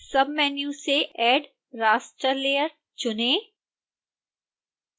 submenu से add raster layer चुनें